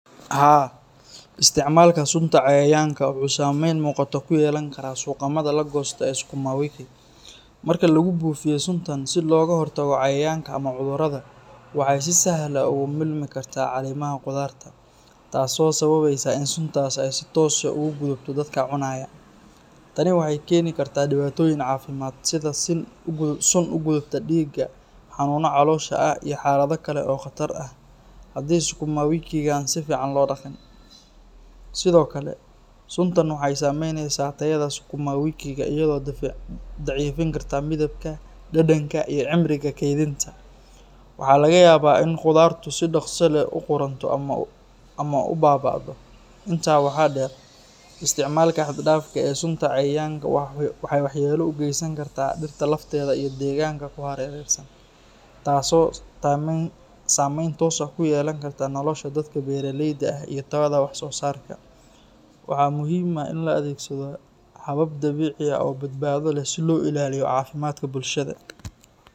Haa, isticmaalka sunta cayayaanka wuxuu saameyn muuqata ku yeelan karaa suuqamada la goosto ee sukuma wiki. Marka lagu buufiyo suntan si looga hortago cayayaanka ama cudurrada, waxay si sahal ah ugu milmi kartaa caleemaha khudaarta, taasoo sababeysa in suntaas ay si toos ah ugu gudubto dadka cunaya. Tani waxay keeni kartaa dhibaatooyin caafimaad sida sun u gudubta dhiigga, xanuuno caloosha ah, iyo xaalado kale oo khatar ah haddii sukuma wikiga aan si fiican loo dhaqin. Sidoo kale, suntan waxay saameyneysaa tayada sukuma wikiga iyadoo daciifin karta midabka, dhadhanka, iyo cimriga keydinta. Waxaa laga yaabaa in khudaartu si dhaqso leh u qudhunto ama u baaba’do. Intaa waxaa dheer, isticmaalka xad dhaafka ah ee sunta cayayaanka waxay waxyeello u geysan kartaa dhirta lafteeda iyo deegaanka ku hareeraysan, taasoo saameyn toos ah ku yeelan karta nolosha dadka beeraleyda ah iyo tayada wax-soosaarka. Waxaa muhiim ah in la adeegsado habab dabiici ah oo badbaado leh si loo ilaaliyo caafimaadka bulshada.